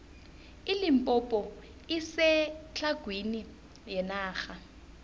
ilimpompo isetlhagwini yenarha